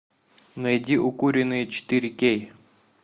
найди укуренные четыре кей